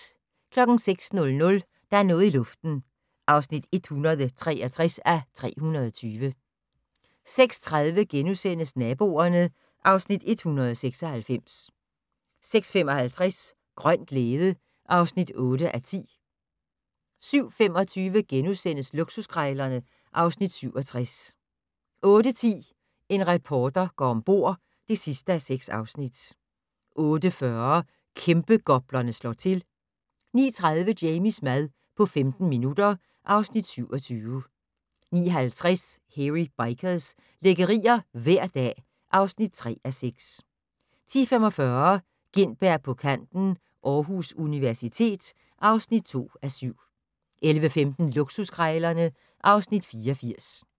06:00: Der er noget i luften (163:320) 06:30: Naboerne (Afs. 196)* 06:55: Grøn glæde (8:10) 07:25: Luksuskrejlerne (Afs. 67)* 08:10: En reporter går om bord (6:6) 08:40: Kæmpegoplerne slår til 09:30: Jamies mad på 15 minutter (Afs. 27) 09:50: Hairy Bikers - lækkerier hver dag (3:6) 10:45: Gintberg på kanten - Aarhus Universitet (2:7) 11:15: Luksuskrejlerne (Afs. 84)